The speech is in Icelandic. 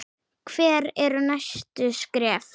Hver eru næstu skref?